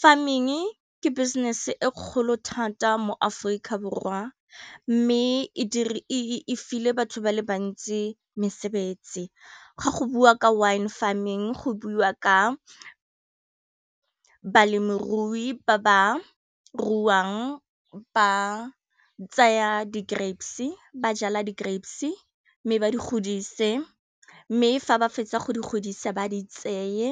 Farming ke business e kgolo thata mo Aforika Borwa mme e file batho ba le bantsi mesebetsi, ga go bua ka wine farming go buiwa ka balemirui ba ba ruang ba tsaya di grapes ba jala di grapes mme ba di godise mme fa ba fetsa go di godisa ba di tseye